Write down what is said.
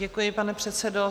Děkuji, pane předsedo.